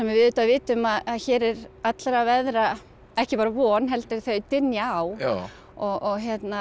við auðvitað vitum að hér er allra veðra ekki bara von heldur þau dynja á og